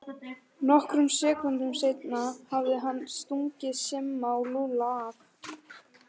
Nokkrum sekúndum seinna hafði hann stungið Simma og Lúlla af.